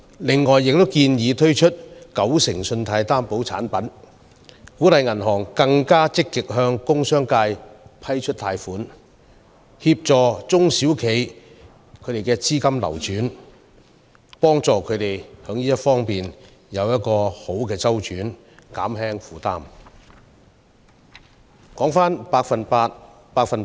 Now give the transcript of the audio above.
此外，我們亦建議推出九成信貸擔保產品，鼓勵銀行更積極向工商界批出貸款，為中小型企業提供資金周轉協助，以減輕他們的負擔。